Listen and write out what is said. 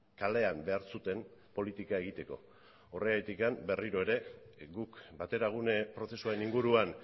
kalean behar zuten politika egiteko horregatik berriro ere guk bateragune prozesuaren inguruan